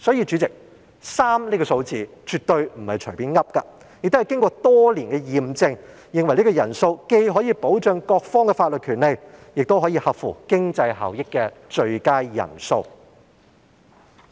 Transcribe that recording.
主席，因此 ，3 人這個數字絕對不是隨便訂出，而是經過多年驗證，認為這是既可以保障各方法律權利，亦可以合乎經濟效益的最佳人數。